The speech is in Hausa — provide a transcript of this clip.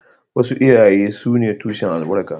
Wasu iyaye sune tushen albarka